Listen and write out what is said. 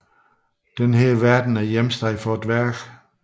Denne verden er hjemsted for dværgene